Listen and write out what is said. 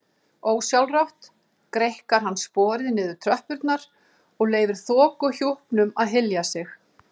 Ósjálfrátt greikkar hann sporið niður tröppurnar og leyfir þokuhjúpnum að hylja sig.